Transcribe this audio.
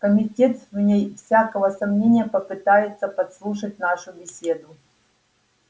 комитет вне всякого сомнения попытается подслушать нашу беседу